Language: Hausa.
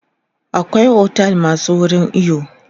akwai otel masu wurin iyo